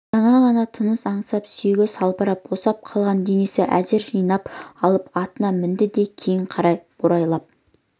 жаңа ғана тыныс аңсап сүйегі салбырап босап қалған денесін әзер жинап алып атына мінді де кейін қарай борбайлап